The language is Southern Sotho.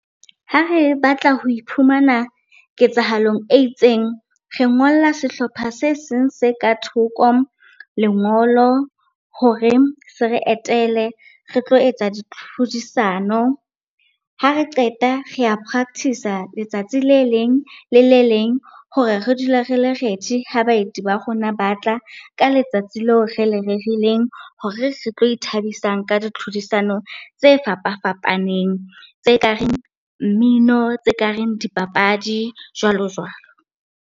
Ha re batla ho iphumana ketsahalong e itseng, re ngolla sehlopha se seng se ka thoko lengolo hore se re etele re tlo etsa ditlhodisano. Ha re qeta, re a practice-a letsatsi le leng le le leng hore re dule re le ready-i ha baeti ba rona ba tla ka letsatsi leo re le rerileng, hore re tlo ithabisang ka ditlhodisano tse fapafapaneng. Tse ka reng mmino, tse kareng dipapadi jwalo jwalo.